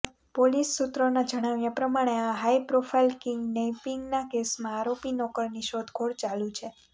police સૂત્રોનાં જણાંવ્યા પ્રમાણે આ હાઇ પ્રોફાઇલ કિડનૈપિંગનાં કેસમાં આરોપી નોકરની શોધખોળ ચાલું છે